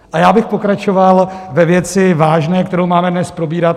A já bych pokračoval ve vážné věci, kterou máme dnes probírat.